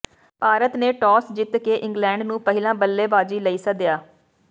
ਭਾਰਤ ਨੇ ਟੌਸ ਜਿੱਤ ਕੇ ਇੰਗਲੈਂਡ ਨੂੰ ਪਹਿਲਾਂ ਬੱਲੇਬਾਜ਼ੀ ਲਈ ਸੱਦਿਆ